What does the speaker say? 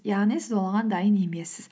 яғни сіз оған дайын емессіз